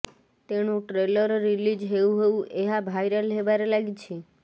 ତେଣୁ trailer release ହେଉ ହେଉ ଏହା ଭାଇରାଲ ହେବାରେ ଲାଗିଛି